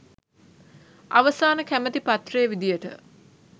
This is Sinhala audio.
අ‍ව‍සා‍න ‍කැ‍ම‍ති පත්‍රයේ ‍වි‍දි‍ය‍ට